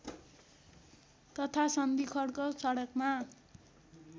तथा सन्धिखर्क सडकमा